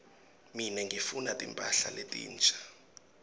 mine ngifuna timphahla letinsha